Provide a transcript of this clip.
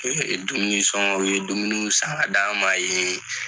[um Dumunisɔnkɔ, u ye dumuni san ka da ma ye.